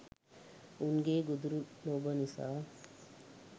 උන්ගේ ගොදුරු ලොබ නිසා